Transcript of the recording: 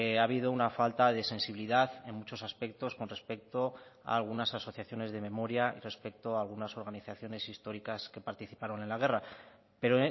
ha habido una falta de sensibilidad en muchos aspectos con respecto a algunas asociaciones de memoria y respecto a algunas organizaciones históricas que participaron en la guerra pero